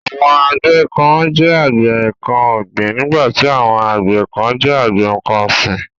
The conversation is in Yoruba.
Àwọn àgbẹ kán jẹ́ àgbẹ nǹkan ọ̀gbìn nígbàtí àwọn àgbẹ kán jẹ́ àgbẹ nǹkan ọ̀sìn.